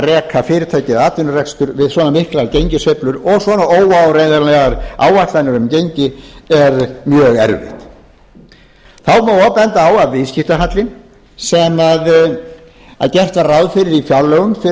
reka fyrirtæki eða atvinnurekstur við svona miklar gengissveiflur og svona óáreiðanlegar áætlanir um gengi er mjög erfitt þá má og benda á að viðskiptahallinn sem gert var ráð fyrir í fjárlögum fyrir